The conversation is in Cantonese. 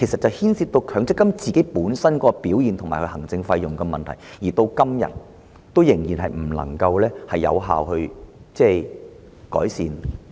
這牽涉強積金本身的表現和行政費用的問題，至今仍未能有效改善。